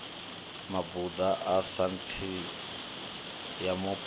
mabuḓo a saintsi ya mupo